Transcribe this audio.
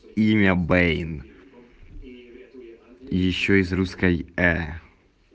имя бэйн ещё и с русской э